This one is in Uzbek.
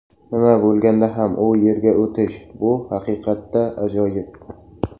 Nima bo‘lganda ham u yerga o‘tish bu haqiqatda ajoyib.